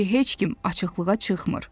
İndi heç kim açıqlığa çıxmır.